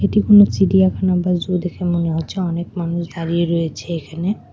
এটি কোনো চিড়িয়াখানা বা জু দেখে মনে হচ্ছে অনেক মানুষ দাঁড়িয়ে রয়েছে এখানে।